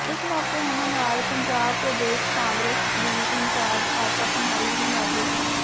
ਇਸ ਮੌਕੇ ਉਨ੍ਹਾਂ ਨਾਲ ਪੰਜਾਬ ਪ੍ਰਦੇਸ਼ ਕਾਂਗਰਸ ਦੀ ਇੰਚਾਰਜ ਆਸ਼ਾ ਕੁਮਾਰੀ ਵੀ ਮੌਜੂਦ ਸਨ